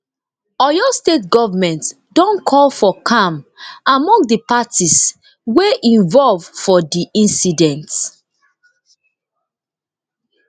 oyo state goment don call for calm among di parties wey involve for di incident